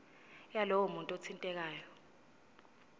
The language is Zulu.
yalowo muntu othintekayo